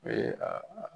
O ye a